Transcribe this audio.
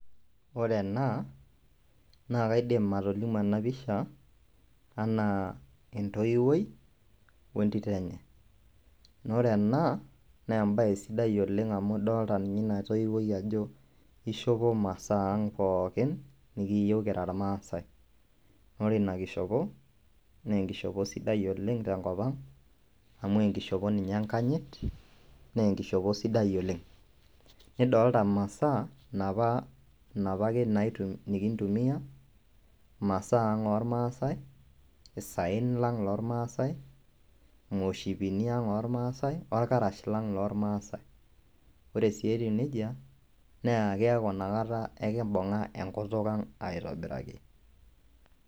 Ore ena naa kaidim atolimu ena pisha enaa entoiwuoi wentito enye naa ore ena naa embaye sidai oleng amu idol ninye ina toiwuoi ajo keishopo imasaang pookin nikiiyieu kira irmaasai naa ore ina kishopo naa enkishopo sidai oleng tenkip ang amu enkishopo ninye enkanyit naa enkishopo sidai oleng nidolita imasaaa napa ake nikintumia imasaa ang ormaasae naitumia irmaasae orkarash lang lormaasai ore ake etiu nejia naa keeku inakata ekimbung'a enkutuk ang aitobiraki .